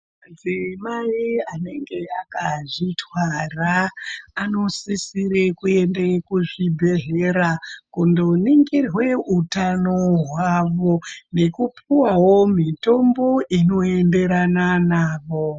Madzimai anenge akazvitwara anosisire kuende kuzvibhedhleya kundoningirwe utano hwavo nekupuwawo mitombo inoenderana navo